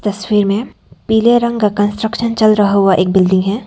तस्वीर में पीले रंग का कंस्ट्रक्शन चल रहा हुआ एक बिल्डिंग है।